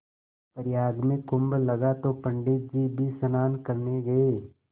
प्रयाग में कुम्भ लगा तो पंडित जी भी स्नान करने गये